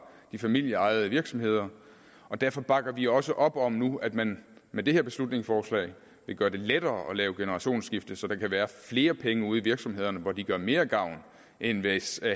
de familieejede virksomheder og derfor bakker vi også op om nu at man med det her beslutningsforslag vil gøre det lettere at lave generationsskifte så der kan være flere penge ude i virksomhederne hvor de gør mere gavn end hvis